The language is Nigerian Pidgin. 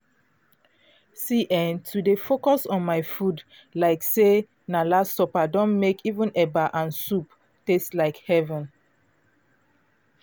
see eh to dey focus on my food like say na last supper don mek even eba and soup taste like heaven.